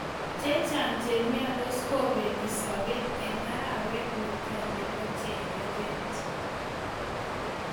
Chechang' che miondos kopeti sobet eng' arawet netai nepo chereret